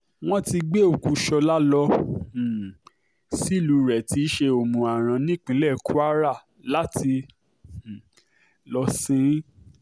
wọ́n ti gbé òkú ṣọ́la lọ um sílùú rẹ̀ tí í ṣe òmù-aran nípínlẹ̀ kwara láti um lọ́ọ sìn ín